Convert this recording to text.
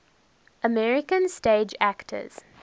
american stage actors